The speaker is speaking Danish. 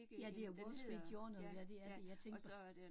Ja, det er Wall Street Journal, ja det er det, jeg tænkte på